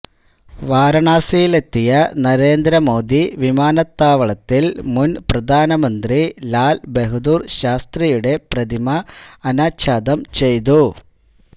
വാരാണസിയിലെത്തിയ നരേന്ദ്ര മോദി വിമാനത്താവളത്തില് മുന് പ്രധാനമന്ത്രി ലാല് ബഹദൂര് ശാസ്ത്രിയുടെ പ്രതിമ അനാച്ഛാദം ചെയ്തു